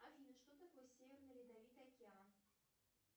афина что такое северный ледовитый океан